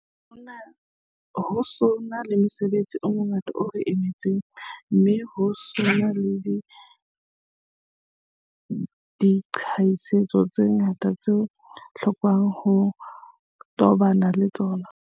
Ho sa na le mosebetsi o mongata o re emetseng, mme ho sa na le diqholotso tse ngata tseo ho lokelwa ng ho tobanwa le tsona.